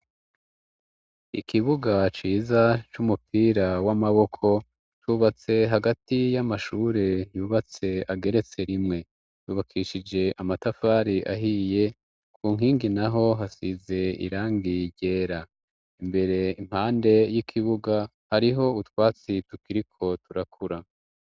Ikibuga ciza c'umupira w'amaboko, cubatse hagati y'amashure, yubatse ageretse rimwe, yubakishije amatafari ahiye, ku nkingi naho hasize irangi ryera, imbere impande y'ikibuga hariho utwatsi tukiriko turakura.